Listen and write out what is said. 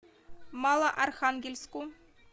малоархангельску